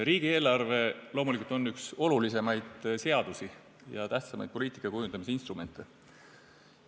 Riigieelarve on loomulikult üks olulisemaid seadusi ja tähtsamaid poliitika kujundamise instrumente.